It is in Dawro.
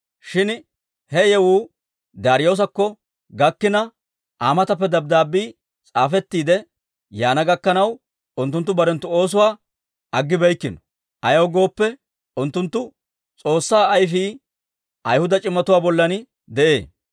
Shin he yewuu Daariyoosakko gakkina, Aa matappe dabddaabbii s'aafettiide yaana gakkanaw, unttunttu barenttu oosuwaa aggibeykkino; ayaw gooppe, unttunttu S'oossaa ayfii ayihuda c'imatuwaa bollan de'ee.